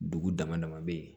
Dugu dama dama bɛ yen